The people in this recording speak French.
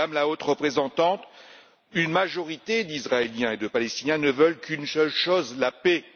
Madame la Haute représentante, une majorité d'Israéliens et de Palestiniens ne veulent qu'une seule chose la paix.